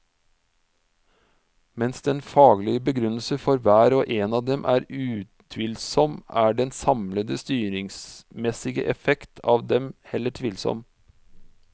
Mens den faglige begrunnelse for hver og en av dem er utvilsom, er den samlede styringsmessige effekt av dem heller tvilsom.